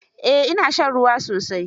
Eh, ina shan ruwa sosai.